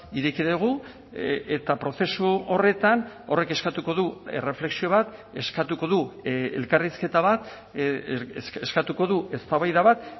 ireki dugu eta prozesu horretan horrek eskatuko du erreflexio bat eskatuko du elkarrizketa bat eskatuko du eztabaida bat